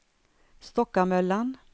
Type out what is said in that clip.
Stockamöllan